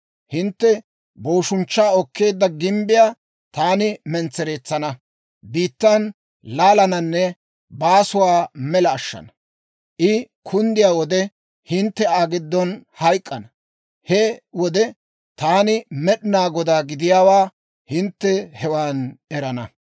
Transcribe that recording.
Hintte booshunchchaa okkeedda gimbbiyaa taani mentsereetsana, biittan laalananne baasuwaa mela ashshana. I kunddiyaa wode hintte Aa giddon hayk'k'ana. He wode taani Med'inaa Godaa gidiyaawaa hintte hewan erana.